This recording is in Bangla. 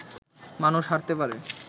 মানুষ হারতে পারে